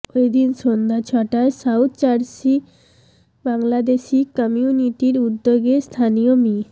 ঐদিন সন্ধ্যা ছয়টায় সাউথজার্সি বাংলাদেশি কমিউনিটির উদ্যোগে স্থানীয় মি